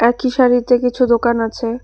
একই সারিতে কিছু দোকান আছে।